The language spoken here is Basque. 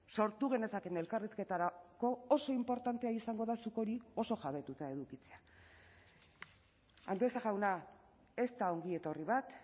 sortu genezakeen elkarrizketarako oso inportantea izango da zuk hori oso jabetuta edukitzea andueza jauna ez da ongietorri bat